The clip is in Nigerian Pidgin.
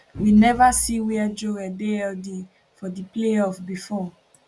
we neva see wia joel dey healthy for di playoff bifor